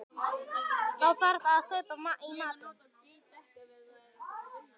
Þá þarf að kaupa í matinn